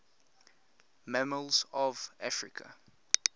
mammals of africa